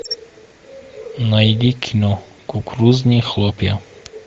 найди кино кукурузные хлопья